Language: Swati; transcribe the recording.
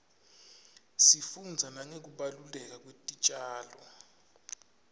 sifundza nangekubaluleka kwetitjalo